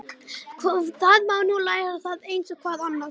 Það má nú læra það eins og hvað annað.